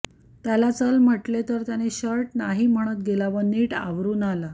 त्याला चल म्हटले तर त्याने शर्ट नाही म्हणत गेला व नीट आवरून आला